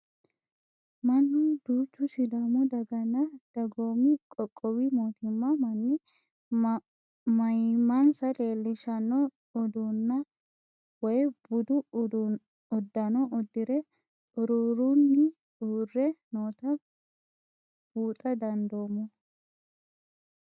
Mannu duuchu sidaamu daganna dagoomi qoqqowi mootimma manni maayimmansa leelishshanno udunna woy budu uddano uddire xuruurrunni urre noota buuxa dandinoommo.